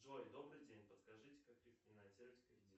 джой добрый день подскажите как рефинансировать кредит